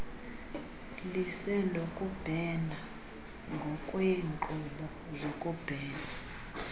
lisenokubhena ngokweenkqubo zokubhena